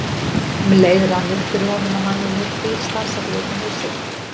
Um leið rann upp fyrir honum að hann hafði heyrt bíl stansa fyrir utan húsið.